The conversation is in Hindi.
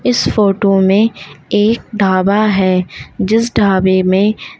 इस फोटो में एक ढाबा है जिस ढाबे में--